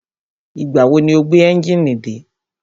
Ìgbà wo ni o gbé ẹ́njìnì dé?